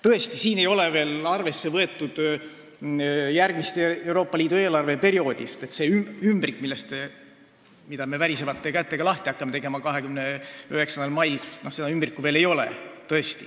Tõesti, siin ei ole veel arvesse võetud järgmist Euroopa Liidu eelarveperioodi, sest seda ümbrikku, mida me värisevate kätega hakkame 29. mail lahti tegema, veel ei ole.